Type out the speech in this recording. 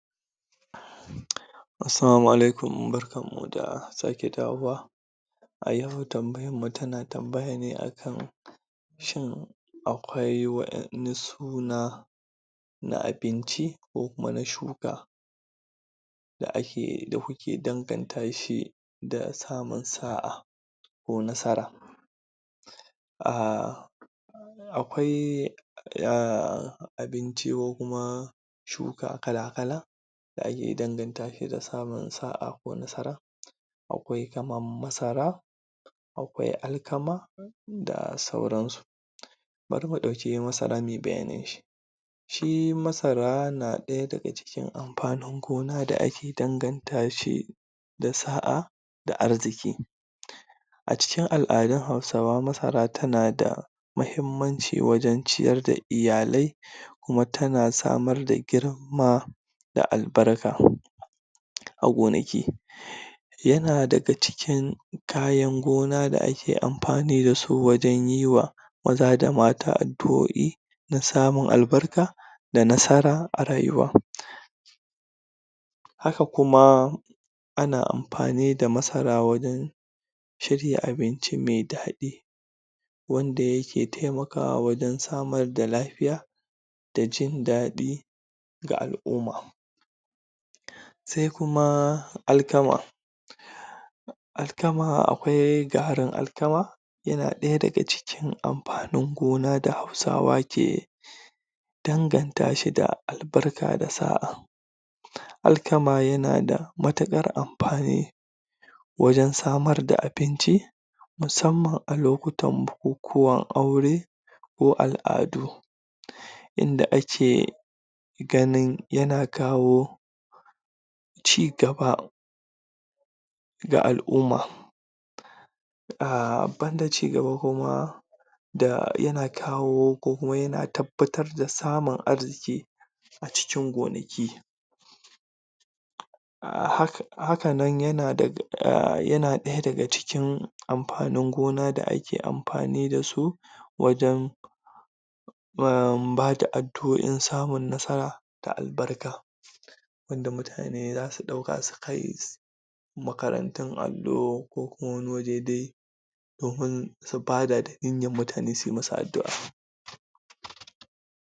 Assalamu alaikuma, barkamu da sake dawowa a yau tambayarmu tana tambaya ne akan shin akwai wa'yan ne suna na abinci ko kuma na shuka da ake da kuke dangata shi da samun sa'a ko nasara a akwai a abinci ko kuma shuka kala-kala da ake danganta shi da samun sa'a ko nasara akwai kamar Masara akwai Alkama da sauransu bari mu ɗauki Masara mui bayanin shi shi Masara na ɗaya daga cikin amfanin gona da ake danganta shi da sa'a da arziƙi a cikin al'adun Hausawa Masara tana da muhimmanci wajen ciyar da lyalai kuma tana samar da girma da albarka a gonaki yana daga cikin kayan gona da ake amfani da su wajen yi wa maza da mata adu'o'i na samun albarka da nasara a rayuwa haka kuma ana amfani da masara wurin shirya abinci me daɗi wanda yake taimakwa wajen samar da lafiya da jindaɗi ga al'umma sai kuma Alkama Alkama akwai garin Alkama yana ɗaya daga cikin amfanin gona da Hausawa ke danganta shi da albarka da sa'a Alkama yana da matukar amfani wajen samar da abinci musamman a lokutan bukukuwan aure ko al'adu inda ake ganin yana kawo ci gaba ga al'umma a banda ci gaba kuma da yana kawo ko kuma yana tabbatar da samun aji ke a cikin gonaki a hak haka nan yana da ɗaya daga cikin amfanin gona da ake amfani da su wajen bada addu'o'i samun nasara da albarka inda mutane za su ɗauka sukai makarantun allo ko kuma wani waje dai domin su bada don mutane sui masu addu'a